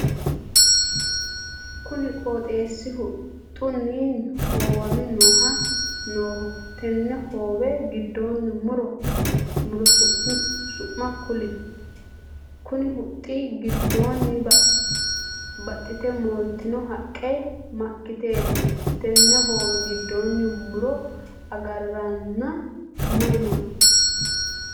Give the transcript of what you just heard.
Kunni qooxeesi huxunni hoowame Nooho tenne hoowe gidoonni muro su'ma kuli? Konni huxi gidoonni baxite moolteno haqe makiteeti? Tenne hoowe gidoonni muro agaranna mayi no?